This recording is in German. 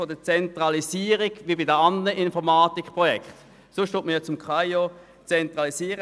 Ansonsten werden Informatikprojekte beim Kantonalen Amt für Informatik und Organisation (KAIO) zentralisiert.